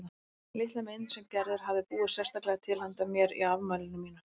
Litla mynd sem Gerður hafði búið sérstaklega til handa mér á afmælinu mínu.